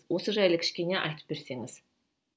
осы жайлы кішкене айтып берсеңіз